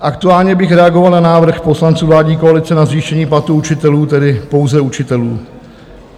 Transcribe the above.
Aktuálně bych reagoval na návrh poslanců vládní koalice na zvýšení platů učitelů, tedy pouze učitelů.